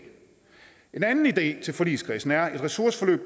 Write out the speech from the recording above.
en anden idé til forligskredsen er at et ressourceforløb